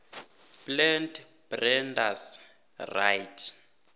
plant breeders right